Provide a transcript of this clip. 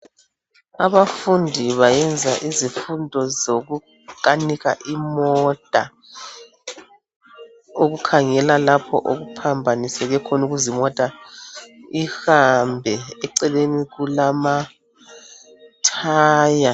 Abafundi bayenza izifundo zokukanika imota. Ukukhangela lapha okuphambaniseke khona ukuze imota uhambe eceleni kuma thaya.